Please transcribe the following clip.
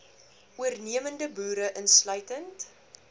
voornemende boere insluitend